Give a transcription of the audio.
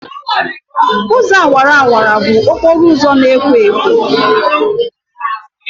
Ụzọ awara awara bụ okporo ụzọ na-ekwo ekwo.